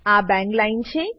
આ બાંગ લાઈન છે